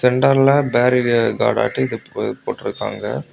சென்டர்ல பேரிகாட்டாட்டம் இத போட்டிருக்காங்க.